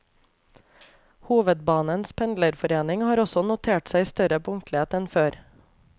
Hovedbanens pendlerforening har også notert seg større punktlighet enn før.